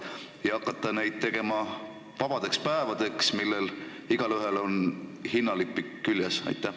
Äkki võiks hakata neid muutma vabadeks päevadeks, igaühel neist oleks hinnalipik küljes?